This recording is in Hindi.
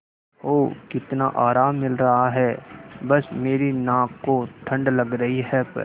ओह कितना आराम मिल रहा है बस मेरी नाक को ठंड लग रही है प्